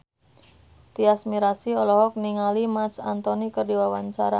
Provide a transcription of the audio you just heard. Tyas Mirasih olohok ningali Marc Anthony keur diwawancara